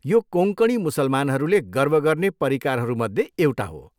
यो कोँकणी मुसलमानहरूले गर्व गर्ने परिकारहरूमध्ये एउटा हो।